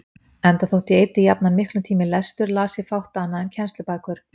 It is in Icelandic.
Enda þótt ég eyddi jafnan miklum tíma í lestur, las ég fátt annað en kennslubækur.